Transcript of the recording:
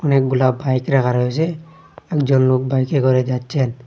অনেকগুলা বাইক রাখা রয়েছে একজন লোক বাইকে করে যাচ্ছেন।